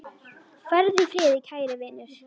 Farðu í friði, kæri vinur.